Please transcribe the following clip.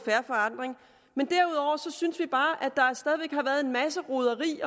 fair forandring men derudover synes vi bare at en masse roderi